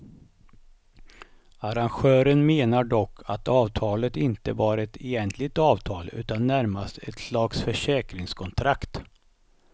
Arrangören menar dock att avtalet inte var ett egentligt avtal utan närmast ett slags försäkringskontrakt.